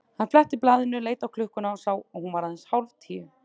Hann fletti blaðinu, leit á klukkuna og sá að hún var aðeins hálf tíu.